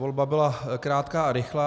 Volba byla krátká a rychlá.